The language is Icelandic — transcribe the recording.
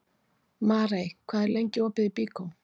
Marey, hvað er lengi opið í Byko?